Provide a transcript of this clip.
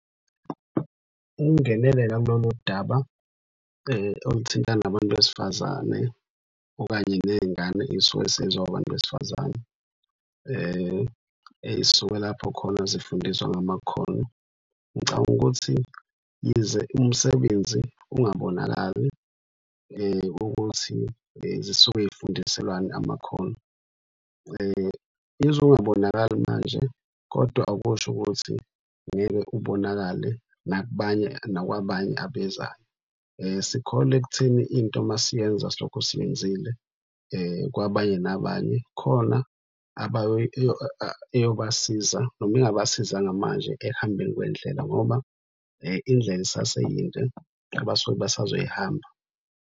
Ukungenelela kulolu daba oluthintana nabantu besifazane okanye ney'ngane ey'suke sey'zoba abantu besifazane. Ey'suke lapho khona zifundiswa ngamakhono, ngicabanga ukuthi yize umsebenzi ungabonakali ukuthi zisuke zifundiselwani amakhono. Yize ungabonakali manje kodwa akusho ukuthi ngeke ubonakale nakubanye, nakwabanye abezayo. Sikholwa ekutheni into masiyenza silokho siyenzile kwabanye nabanye khona eyobasiza. Noma ingabasizanga manje kodwa ekuhambeni kwendlela ngoba indlela isaseyinde abasuke besazoyihamba.